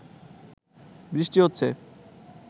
বৃষ্টি হচ্ছে